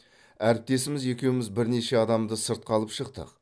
әріптесіміз екеуіміз бірнеше адамды сыртқа алып шықтық